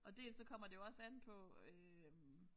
Og dels så kommer det jo også an på øh